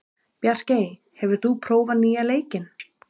Bjarkey, hefur þú prófað nýja leikinn?